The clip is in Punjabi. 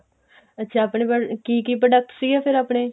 ਅੱਛਾ ਆਪਣੇ ਮਤਲਬ ਕੀ ਕੀ product ਸੀਗੇ ਫਿਰ ਆਪਣੇ